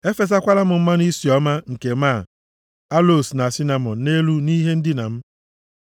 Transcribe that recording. Efesakwala m mmanụ isi ọma nke máá, aloos na sinamọn nʼelu nʼihe ndina m.